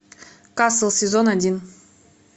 касл сезон один